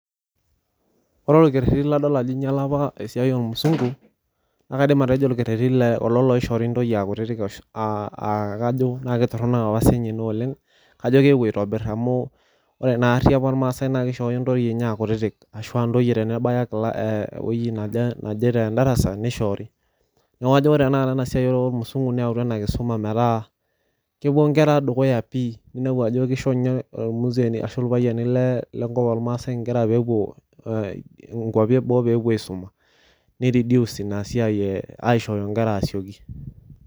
Ore orkereti ladol ajo inyiala apa esiai ormusungu , naa kaidim atejo orkereti le kulo loishoori ntoyie aa kutiti aa kajo kitoronok apa sininye inaoleng , kajo keewuo aitobir amu ore naari apa irmaasae naa kishooyo ntoyie enye aa kutiti ashua ntoyie tenebaya ewueji naje tedarasa nishoori. Niaku kajo ore tenakata enasiai ormusungu neautua enakisuma metaa kepuo nkera dukuya pi , ninepu ajo kisho nye irmuzeeni ashu irpayiani le lenkop ormaasae nkera peepuo nkwapi eboo pepuo aisuma, nireduce inasiai e aishooyo nkera asioki